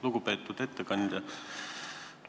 Lugupeetud ettekandja!